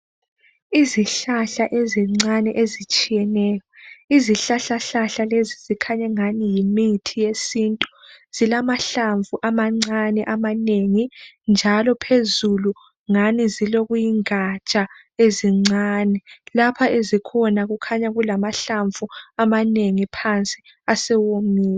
Izihlahla ezincane ezitshiyeneyo. Izihlahla hlahla lezi zikhanya engani yimithi yesintu. Zilamahlamvu amancane amanengi njalo phezulu ngani zilokuyingatsha ezincane. Lapha ezikhona kukhanya kulamahlamvu amanengi phansi asewomile.